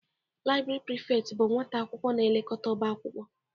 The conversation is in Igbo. Laibri Prifekt bụ nwata akwụkwọ na-elekọta ọba akwụkwọ.